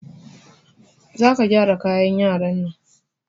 Za ka gyara kayan yaran nan!